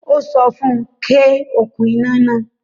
Ó sọ fún UN; ké okún iná náà